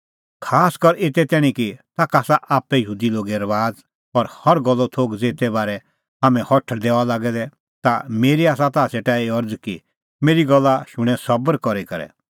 खासकर एते तैणीं कि ताखा आसा आप्पै यहूदी लोगे रबाज़ और हर गल्लो थोघ ज़ेते बारै हाम्हैं हठल़दै हआ लागै दै ता मेरी आसा ताह सेटा एही अरज़ कि मेरी गल्ला शुणें सबर करी करै